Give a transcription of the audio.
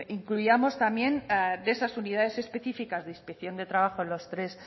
incluíamos también de esas unidades específicas de inspección de trabajo los tres